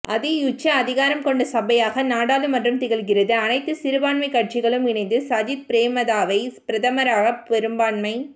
அதியுச்ச அதிகாரம் கொண்ட சபையாக நாடாளுமன்றம் திகழ்கிறது அனைத்து சிறுபான்மை கட்சிகளும் இணைந்து சஜித் பிரேமதாசவை பிரதமராக பெரும்பான்மை